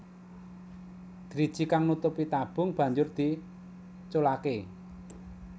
Driji kang nutupi tabung banjur diculaké